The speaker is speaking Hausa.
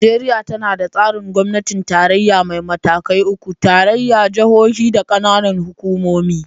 Najeriya tana da tsarin gwamnatin tarayya mai matakai uku: tarayya, jihohi, da kananan hukumomi.